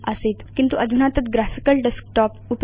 आसीत् किन्तु अधुना तत् ग्राफिकल डेस्कटॉप